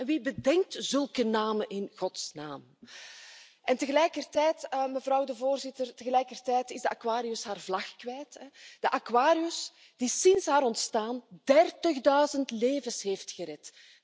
Wie bedenkt zulke namen in godsnaam? En tegelijkertijd, mevrouw de Voorzitter, tegelijkertijd is de Aquarius haar vlag kwijt, de Aquarius die sinds haar ontstaan dertigduizend levens heeft gered.